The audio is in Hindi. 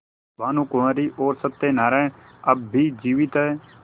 भानुकुँवरि और सत्य नारायण अब भी जीवित हैं